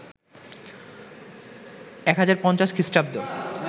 ১০৫০ খ্রি